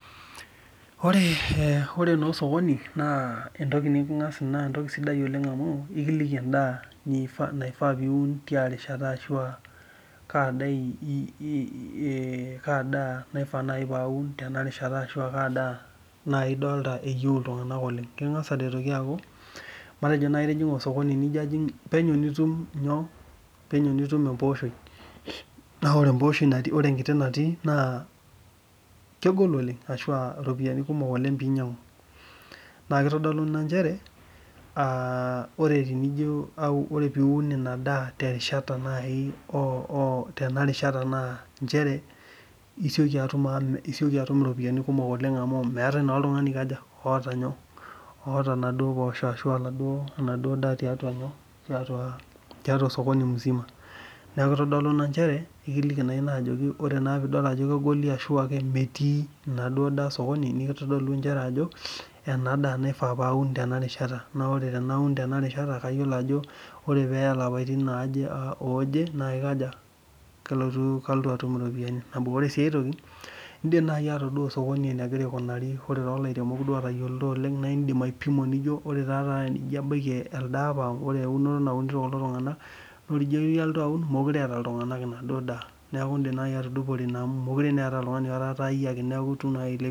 Ore no osokoni na emdaa sidai nikili niun tiarishata ashu kaa daa nai idolita eyieu ltunganak oleng matejo itijinga osokoni na penyo nitum embooshoi na ore empooshoi natii ore enkiti natii na kegol oleng na kitadolu mchere aa ore piun inadaa tenarishata na nchere isieki atum iropiyiani kumok oleng amu meetae naa oltungani oota nyoo oota naduo poosho ashu enaduo daa neaku ekintadolu ajo ore peaku meetae enaduo daa tosokoni na kitadolu ajo enadaa naifa paum tenarishata na ore peya lapaitin aare na kalotu atum enaduo toki ore ai eniare indim nai ataduo osokoni enegira aikunari ore eunoto naunito kulo tunganak nidupore na niirem